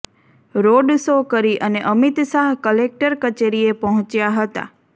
road show કરી અને Amit Shah collector કચેરીએ પહોંચ્યા હતા